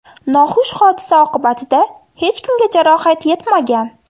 Noxush hodisa oqibatida hech kimga jarohat yetmagan.